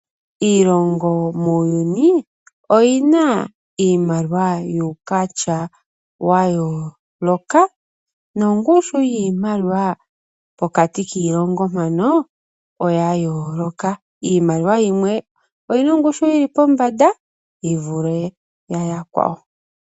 Iilongo muuyuni oyina iimaliwa yuukwatya wa yooloka, nongushu yiimaliwa pokati kiilongo mpono oya yooloka. Iimaliwa yimwe oyi na ongushu yili pombanda yi vule ya yakwawo.